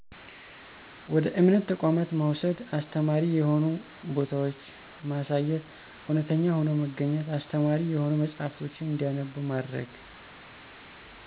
ወደ እምነት ተቋማት መውሰድ፣ አስተማሪ የሆኑ ቦታወችማሳየት፣ እውነተኛ ሆኖ መገኝት፣ አስተማሪ የሆኑ መጸሐፍቶችን እንዲያነቡ ማድረግ።